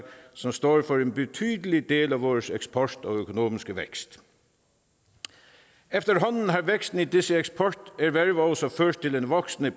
som står for en betydelig del af vores eksport og økonomiske vækst efterhånden har væksten i disse eksporterhverv også ført til en voksende